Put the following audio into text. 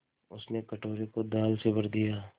उसने कटोरे को दाल से भर दिया